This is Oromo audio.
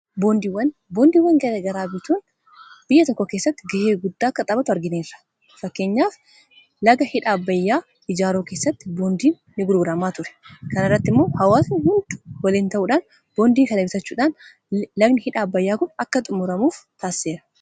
Boondiiwan garagaraa bituun biyya tokko keessatti ga'ee guddaa akka tabatu argineerra .fakkeenyaaf laga hidha abbayyaa ijaaruu keessatti boondiin ni gurguramaa ture .kana irratti immoo hawaasni hundu waliin ta'uudhaan boondii babalisachuudhaan lagni hidha abbayyaa kun akka xumuramuuf taasiseera.